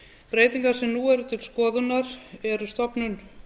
breytingar sem nú eru til skoðunar eru stofnun